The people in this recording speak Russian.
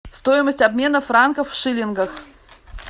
стоимость обмена франков в шиллингах